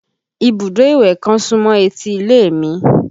Ibùdó ìwẹ̀ kan súmọ́ etí ilé mi